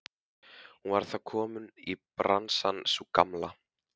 Hún var þá komin í bransann sú gamla!